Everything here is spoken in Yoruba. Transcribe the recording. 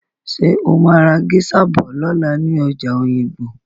Ṣé o máa ra géṣa bọ̀ lọ́la ní ọjà òyìngbò?